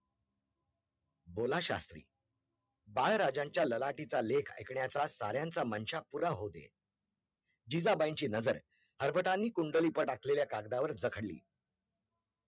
बोला शास्त्री, बाळ राजांच्या लालाठीचा लेख ऐकण्याचा साऱ्यांचा मनशा पुरा होऊदेत, जिजाबाईची नजर हरबतांनी कुंडली वर टाकलेल्या कागदावर जखळली